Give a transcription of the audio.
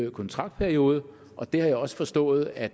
kontraktperiode og det har jeg også forstået at